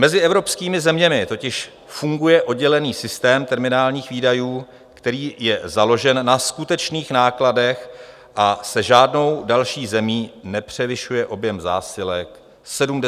Mezi evropskými zeměmi totiž funguje oddělený systém terminálních výdajů, který je založen na skutečných nákladech, a se žádnou další zemí nepřevyšuje objem zásilek 75 tun ručně.